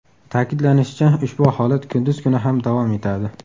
Ta’kidlanishicha, ushbu holat kunduz kuni ham davom etadi.